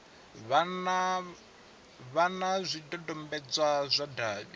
vha na zwidodombedzwa zwa davhi